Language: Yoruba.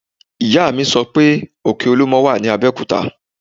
Ìyá mi sọ pé òkè olúmọ wà ní Abẹ́òkúta